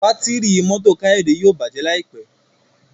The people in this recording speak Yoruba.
Bátìrì mọ́tò Kayode yíò bàjé láìpé.